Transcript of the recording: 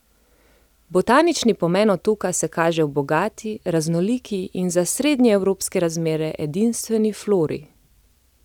Botanični pomen otoka se kaže v bogati, raznoliki in za srednjeevropske razmere edinstveni flori.